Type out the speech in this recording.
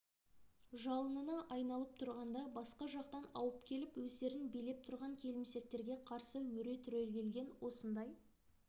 жалынына айналып тұрғанда басқа жақтан ауып келіп өздерін билеп тұрған келімсектерге қарсы өре түрегелген осындай